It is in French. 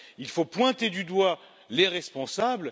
Il faut pointer du doigt les responsables.